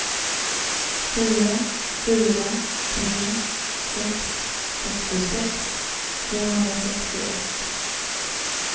fyra fyra tre sex sextiosex tvåhundrasextioett